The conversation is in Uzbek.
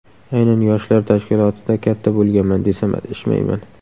Aynan yoshlar tashkilotida katta bo‘lganman, desam adashmayman.